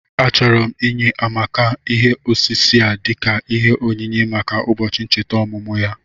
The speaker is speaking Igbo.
Achọrọ m inye Amaka ihe osise a dika ìhè ònyìnyé maka ụbọchị nchèta ọmụmụ ya